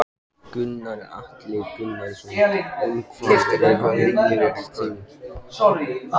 Gunnar Atli Gunnarsson: Um hvað er hryllingssaga þín?